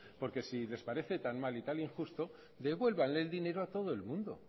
porque si les parece tan mal y tan injusto devuélvanleel dinero a todo el mundo